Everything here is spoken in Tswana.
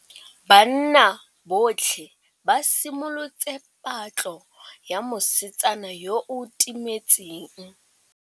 Banna botlhê ba simolotse patlô ya mosetsana yo o timetseng.